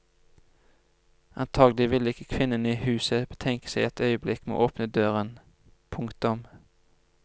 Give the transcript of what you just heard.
Antagelig ville ikke kvinnen i huset betenke seg et øyeblikk med å åpne døren. punktum